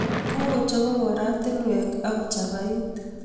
Kokochobok oratinwek ako chapait